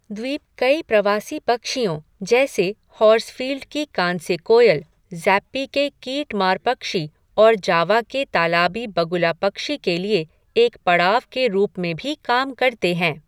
द्वीप कई प्रवासी पक्षियों, जैसे हॉर्सफ़ील्ड की कांस्य कोयल, ज़ैप्पी के कीटमार पक्षी और जावा के तालाबी बगुला पक्षी के लिए एक पड़ाव के रूप में भी काम करते हैं।